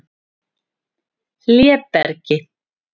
Hlébergi